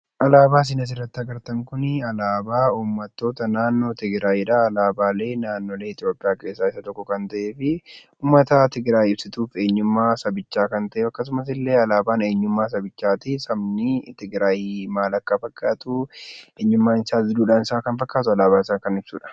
Alaabaa isin asirratti agartan kun alaabaa uummattoota naannoo tigraayidha. Alaabaalee naannolee Itoophiyaa keessaa isa tokko kan ta'ee fi uummata tigraayiif ibsituu eenyummaa kan ta'e akkasumas alaabaan eenyummaa sabichaa sabni tigraay maal akka fakkaatu eenyummaan isaa duudhaan isaa maal akka fakkaatu alaabaan isaa kan ibsudha.